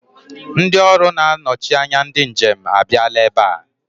Ndị ọrụ na-anọchi anya ndị njem a bịala ebe a.